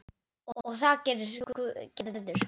Og það gerir Gerður.